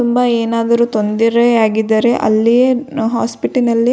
ತುಂಬಾ ಏನಾದರೂ ತೊಂದರೆಯಾಗಿದ್ದರೆ ಅಲ್ಲಿ ಹಾಸ್ಪಿಟಲ್ ನಲ್ಲಿ --